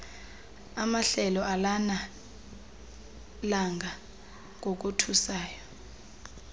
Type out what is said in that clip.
amahlelo alanelanga ngokothusayo